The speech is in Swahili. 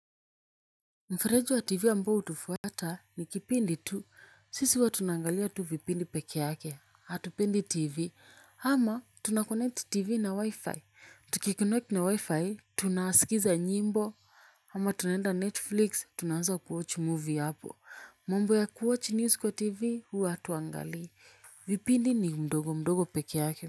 Mfereji wa tv ambao hutufuata ni kipindi tu, sisi huwa tunaangalia tu vipindi peke yake, hatupendi tv, ama tunaconnect tv na wi-fi, tukiconnect na wi-fi, tunasikiza nyimbo, ama tunaenda netflix, tunaanza kuwatch movie hapo, mambo ya kuwatch news kwa tv, huwa hatuangalii, vipindi ni mdogo mdogo peke yake.